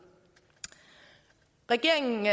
regeringen